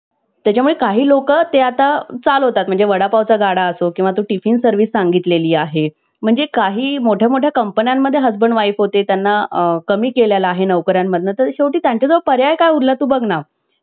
त्याच्या मुळे काही लोक ते आता चालवतात . म्हणजे वडापावचा गाडा असो किंवा तू टिफिन service सांगितलेली आहे. म्हणजे काही मोठ्या मोठ्या कंपन्यांमध्ये husband wife होते. त्यांना कमी केलेला आहे. नोकऱ्यांमधनं अंतर शेवटी त्यांचा जो पर्याय उरला तू बघना